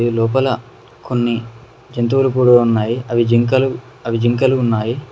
లోపల కొన్ని జంతువులు కూడు ఉన్నాయి అవి జింకలు అవి జింకలు ఉన్నాయి.